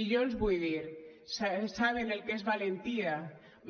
i jo els vull dir saben el que és valentia